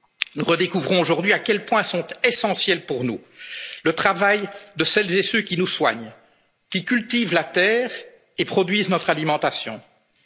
du football. Nous redécouvrons aujourd'hui à quel point sont essentiels, pour nous, le travail de celles et ceux qui nous soignent, qui cultivent la terre et produisent notre alimentation,